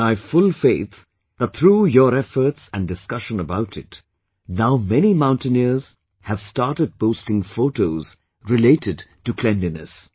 And I have full faith that through your efforts and discussion about it, now many mountaineers have started posting photos related to cleanliness